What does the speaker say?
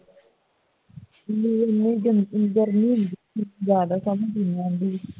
ਏਨੀ ਗਰਮੀ ਹੁੰਦੀ ਹੈ ਜ਼ਿਆਦਾ ਤਾਂ ਨਹੀਂ